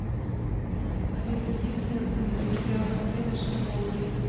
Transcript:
алиса есть ли в пределах отеля шезлонги